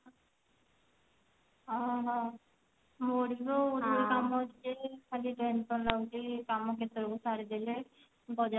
ଓ ହୋ ହଉ ଖାଲି tension ଲାଗୁଛି ସବୁ ସାରି ଦେଲେ ବଜାର